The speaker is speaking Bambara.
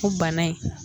O bana in